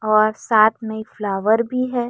और साथ में एक फ्लावर भी है।